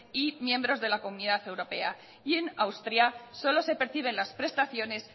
y miembros de la comunidad europea y en austria solo se perciben las prestaciones